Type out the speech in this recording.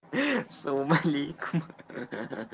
салам алейкум ха ха